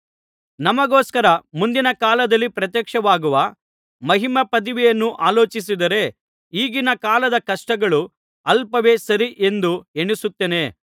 ನಮಗೋಸ್ಕರ ಮುಂದಿನ ಕಾಲದಲ್ಲಿ ಪ್ರತ್ಯಕ್ಷವಾಗುವ ಮಹಿಮಾಪದವಿಯನ್ನು ಆಲೋಚಿಸಿದರೆ ಈಗಿನ ಕಾಲದ ಕಷ್ಟಗಳು ಅಲ್ಪವೇ ಸರಿ ಎಂದು ಎಣಿಸುತ್ತೇನೆ